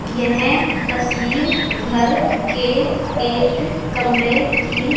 यह तस्वीर घर के एक कमरे की--